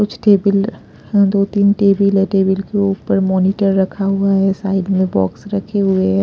कुछ टेबल दो-तीन टेबल है टेबल के ऊपर मॉनिटर रखा हुआ है साइड में बॉक्स रखे हुए हैं।